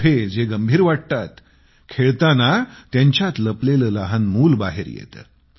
मोठे जे गंभीर वाटतात खेळताना त्यांच्यात लपलेले लहान मूल बाहेर येते